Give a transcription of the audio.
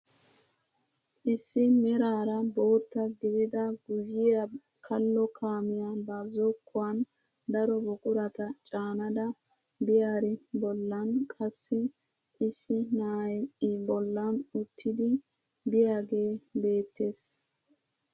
Issi meraara bootta gidida guyiyaa kallo kaamiyaa ba zokkuwaan daro buqurata caanada biyaari bollan qassi issi na'ay i bollan uttidi biyaagee beettees.